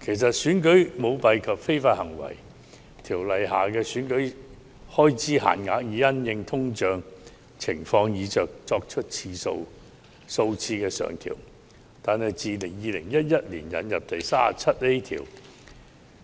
其實，《選舉條例》下的選舉開支限額已因應通脹情況而數次上調，但自2011年引入第 37A 條